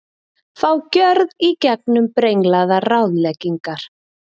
Fá gjörð í gegnum brenglaðar ráðleggingar